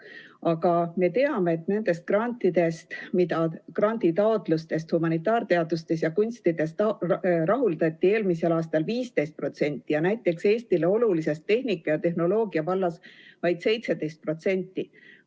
Aga me teame, et granditaotlustest rahuldati humanitaarteadustes ja kunstides eelmisel aastal 15% ja näiteks Eestile olulises tehnika- ja tehnoloogiavallas vaid 17%.